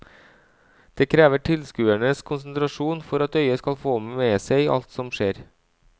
Det krever tilskuerens konsentrasjon for at øyet skal få med seg alt som skjer.